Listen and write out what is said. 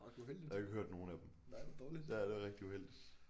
Og jeg har ikke hørt nogle af dem ja det er rigtig uheldigt